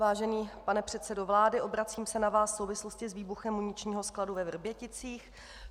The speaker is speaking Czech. Vážený pane předsedo vlády, obracím se na vás v souvislosti s výbuchem muničního skladu ve Vrběticích.